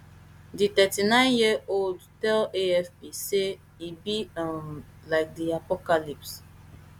di thirty-nineyearold tell afp say e be um like di apocalypse